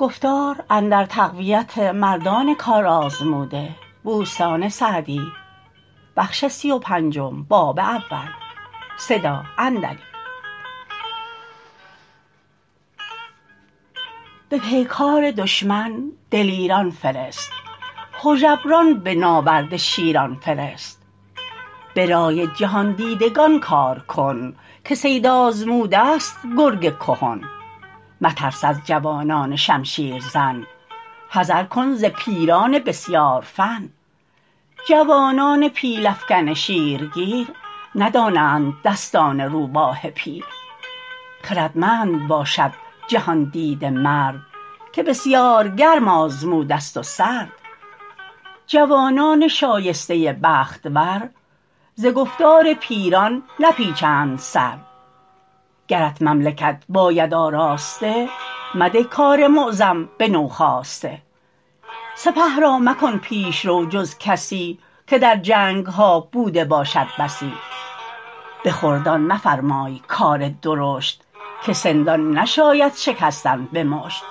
به پیکار دشمن دلیران فرست هژبران به ناورد شیران فرست به رای جهاندیدگان کار کن که صید آزموده ست گرگ کهن مترس از جوانان شمشیر زن حذر کن ز پیران بسیار فن جوانان پیل افکن شیرگیر ندانند دستان روباه پیر خردمند باشد جهاندیده مرد که بسیار گرم آزموده ست و سرد جوانان شایسته بخت ور ز گفتار پیران نپیچند سر گرت مملکت باید آراسته مده کار معظم به نوخاسته سپه را مکن پیشرو جز کسی که در جنگها بوده باشد بسی به خردان مفرمای کار درشت که سندان نشاید شکستن به مشت